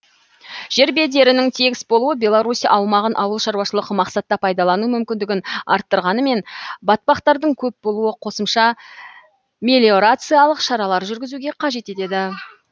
жер бедерінің тегіс болуы беларусь аумағын ауыл шаруашылық мақсатта пайдалану мүмкіндігін арттырғанмен батпақтардың көп болуы қосымша мелиорациялық шаралар жүргізуге қажет етеді